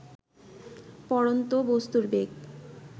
পড়ন্ত বস্তুর বেগ